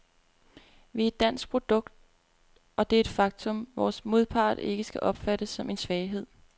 Vi er et dansk produkt, og det er et faktum, vores modpart ikke skal opfatte som en svaghed.